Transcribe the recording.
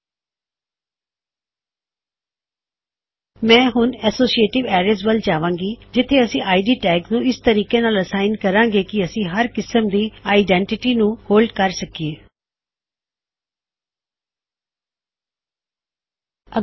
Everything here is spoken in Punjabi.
ਜਿਵੇਂ ਵੀ ਮੈਂ ਹੁਣ ਅਸੋਸ਼ੀਏਟਿਵ ਅਰੈਜ ਵਿੱਚ ਜਾ ਰਿਹਾ ਜਿਥੇ ਅਸੀਂ ਇਦ ਟੈਗਜ ਨੂੰ ਇਸ ਤਰੀਕੇ ਨਾਲ ਅਸਾਇਨ ਕਰਾਂਗੇ ਕੀ ਸਾਡੇ ਕੋਲ ਹਰ ਕਿਸਮ ਦੀ ਆਇਡੈੱਨਟਿਟਿ ਦੀ ਵੈਲਯੂ ਦਾ ਹੋਲਡ ਹੋਵੇ